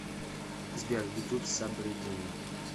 сбер ютуб сабриддин